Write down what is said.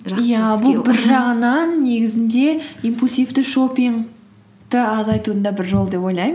бір жағынан негізінде импульсивті шоппингті азайтудың да бір жолы деп ойлаймын